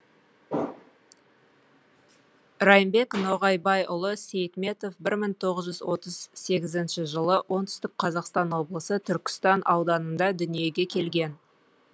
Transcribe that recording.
райымбек ноғайбайұлы сейтметов мың тоғыз жүз отыз сегізінші жылы оңтүстік қазақстан облысы түркістан ауданында дүниеге келген